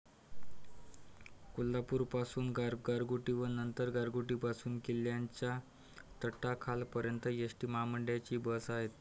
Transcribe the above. कोल्हापूरपासून गारगोटी व नंतर गारगोटीपासून किल्ल्याच्या तटाखालपर्यंत एस टी महामंडळाची बस आहे.